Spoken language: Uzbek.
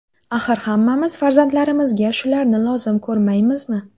Axir hammamiz farzandlarimizga shularni lozim ko‘rmaymizmi?